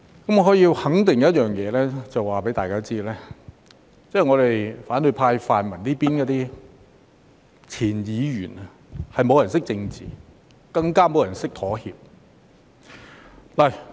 我可以肯定一件事，並且在此告訴大家，那便是在反對派或泛民的前議員中，沒有人懂得政治，更沒有人懂得妥協。